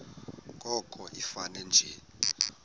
koko ifane nje